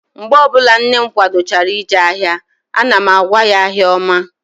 Mgbe ọbụla nne m kwadochara ije ahịa, ana m agwa ya, "ahịa ọma"